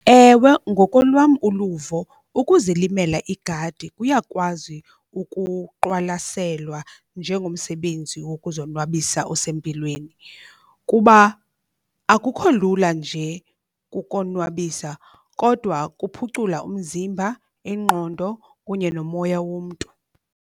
Ewe, ngokolwam uluvo ukuzilimela igadi kuyakwazi ukuqwalaselwa njengomsebenzi wokuzonwabisa osempilweni. Kuba akukho lula nje kukonwabisa kodwa kuphucula umzimba, ingqondo kunye nomoya womntu.